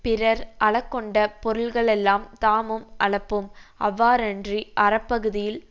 பிறர் அழக்கொண்ட பொருள்களெல்லாம் தாமும் அழப்போம் அவ்வாறன்றி அறப்பகுதியில்